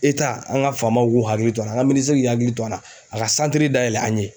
an ka faamaw k'u hakili to a la an ka minisiri k'i hakili to a la a ka dayɛlɛ an ye.